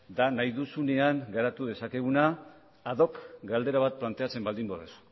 da nahi duzunean garatu dezakeguna ad doc galdera bat planteatzen baldin baduzu